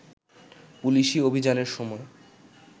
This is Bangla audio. পুলিশি অভিযানের সময়